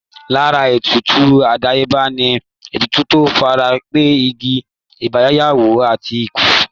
Lára ètùtù àdáyébá ni ètùtù tó fara pẹ́ ìbí, ìgbéyàwó, àti ikú